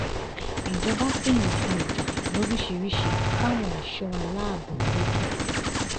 ìjọba pín nǹkan ìjà lóríṣìíríṣìí fáwọn ẹ̀ṣọ́ aláàbọ̀ lẹ́kìtì